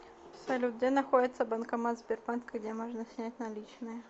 салют где находится банкомат сбербанка где можно снять наличные